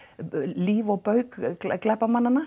líf og bauk glæpamannanna